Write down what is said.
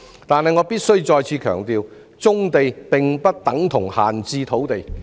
但是，我必須再次強調，棕地不等於閒置土地。